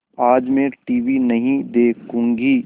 आज मैं टीवी नहीं देखूँगी